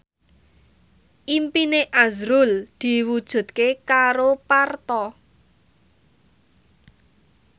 impine azrul diwujudke karo Parto